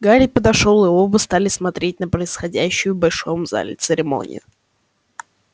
гарри подошёл и оба стали смотреть на происходящую большом зале церемонию